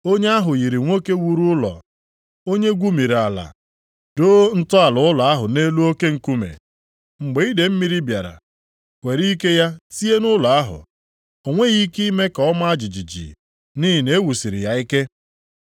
Onye ahụ yiri nwoke wuru ụlọ, onye gwumiri ala, doo ntọala ụlọ ahụ nʼelu oke nkume. Mgbe idee mmiri bịara were ike ya tie nʼụlọ ahụ, o nweghị ike ime ka ọ maa jijiji nʼihi na e wusiri ya ike.